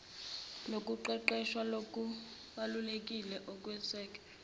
lokuqeqeshwa ngokubalulekile okweseke